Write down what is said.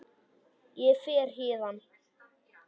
Ég fer héðan.